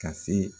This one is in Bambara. Ka se